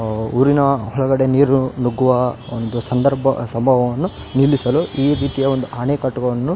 ಅಆ ಊರಿನ ಹೊರಗಡೆ ನೀರು ನುಗ್ಗುವ ಒಂದು ಸಂದರ್ಭ ಸಬವವನ್ನು ನಿಲ್ಲಿಸಲು ಈ ರೀತಿಯ ಒಂದು ಅನೆಕಟ್ಟುಗಳನ್ನು --